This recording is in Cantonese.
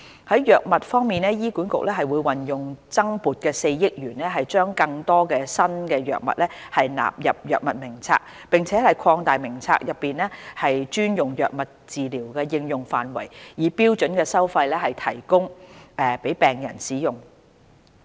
在藥物方面，醫管局會運用增撥的4億元將更多新藥物納入藥物名冊，並擴大名冊內專用藥物的治療應用範圍，以標準收費提供予病人使用。